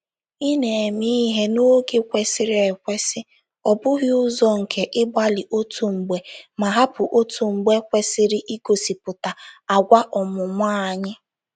Ịna-eme ihe n’oge kwesịrị ekwesị — ọ bụghị ụzọ nke ịgbalị otu mgbe ma hapụ otu mgbe — kwesịrị ịgosịpụta agwa ọmụmụ anyị.